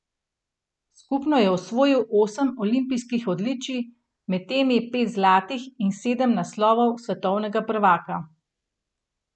Skupno je osvojil osem olimpijskih odličij, med temi pet zlatih, in sedem naslovov svetovnega prvaka.